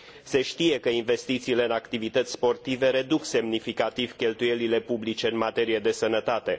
Se știe că investițiile în activități sportive reduc semnificativ cheltuielile publice în materie de sănătate.